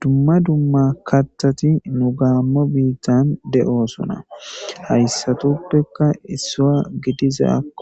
Dumma dummaa kathati nugaomo bittan de'ssona hayssatuppe